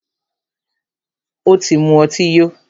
Ó tí mú ọtí yó.